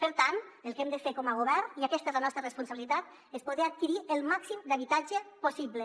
per tant el que hem de fer com a govern i aquesta és la nostra responsabilitat és poder adquirir el màxim d’habitatge possible